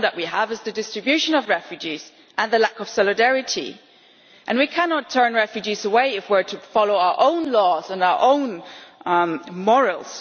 The problem we have is the distribution of refugees and the lack of solidarity. We cannot turn refugees away if we are to follow our own laws and our own morals.